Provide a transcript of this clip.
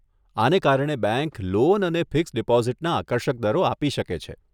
આને કારણે bank loan અને ફિક્સ્ડ ડીપોઝીટના આકર્ષક દરો આપી શકે છે.